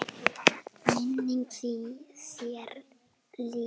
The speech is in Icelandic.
Minning þeirra lifir.